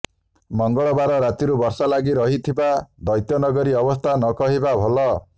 ମଙ୍ଗଳବାର ରାତିରୁ ବର୍ଷା ଲାଗି ରହିଥିବା ଦ୍ୱୈତ୍ୟନଗରୀ ଅବସ୍ଥା ନକହିବା ଭଲ